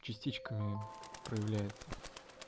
частичками проявляется